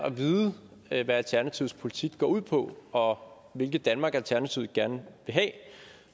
at vide hvad alternativets politik går ud på og hvilket danmark alternativet gerne vil have